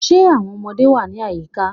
Are the children around